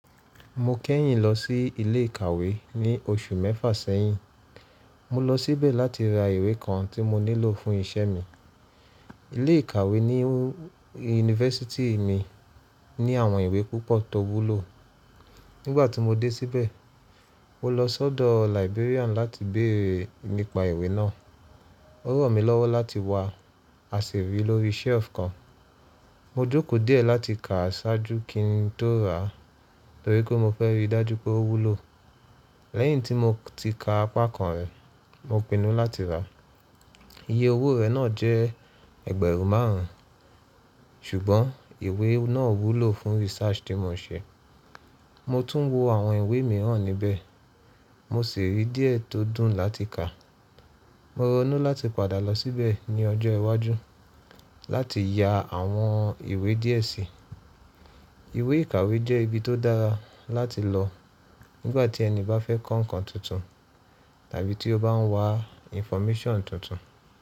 Mo kẹ́yìn lọ sí ilé ìkàwé ní oṣù mẹ́fà sẹ́yìn. Mo lọ síbẹ̀ láti ra ìwé kan tí mo nílò fún iṣẹ́ mi. Ilé ìkàwé ní yunifásítì mi ní àwọn ìwé púpọ̀ tó wúlò. Nígbà tí mo dé síbẹ̀, mo lọ sọ́dọ̀ librarian láti béèrè nípa ìwé náà. Ó ran mí lọ́wọ́ láti wá, a sì rí lórí shelf kan. Mo jókòó díẹ̀ láti kà á ṣáájú kí n tó rà á, torí pé mo fẹ́ rí i dájú pé ó wúlò. Lẹ́yìn tí mo ti ka apá kan rẹ̀, mo pinnu láti rà á. Iye owó rẹ̀ náà jẹ́ ẹgbẹ̀rún márùn-ún, ṣùgbọ́n ìwé náà wúlò fún research tí mo n ṣe. Mo tún wo àwọn ìwé mìíràn níbẹ̀. Mo sì rí díẹ̀ tó dùn láti kà. Mo ronú láti padà lọ síbẹ̀ ní ọjọ́ iwájú láti ya àwọn ìwé díẹ̀ si. Ìwé ìkàwé jẹ́ ibi tó dára láti lọ nígbà tí ẹni bá fẹ́ kọ́ nǹkan tuntun, tàbí tí ó bá ń wá infomation tuntun.